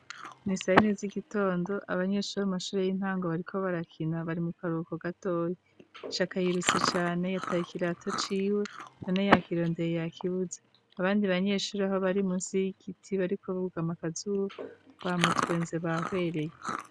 Ni sayine z'igitondo abanyeshuri mu mashuri y'intango bariko barakina bari mu karuhuko gatoyi. Shaka yirutse cane yataye ikirato ciwe none yakirondeye yakibuze, abandi banyeshure aho bari munsi y'ikiti bariko bugama akazuba bamutwenze bahwereye.